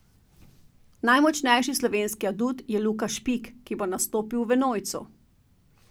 Najmočnejši slovenski adut je Luka Špik, ki bo nastopil v enojcu.